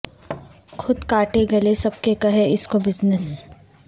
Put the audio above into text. خود کاٹیں گلے سب کے کہے اس کو بزنس